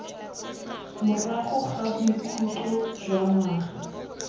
morago ga bokhutlo jwa ngwaga